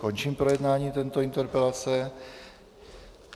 Končím projednávání této interpelace.